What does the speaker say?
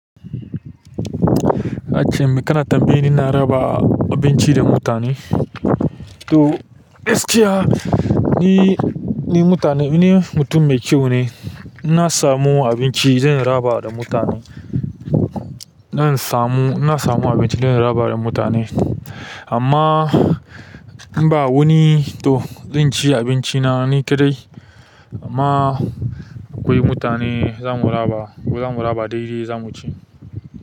A can me kana tambaye ni ina raba abinci da mutane. To, gaskiya, ni, ni mutane, ni mutum mai kyau ne. Na samu abinci zan raba da mutane. Zan samu, in na samu abinci zan raba da mutane. Amma ba in ba wani to zan ci abinci na ni kaɗai. Amma akwai mutane za mu raba. Za mu raba daidai za mu ci.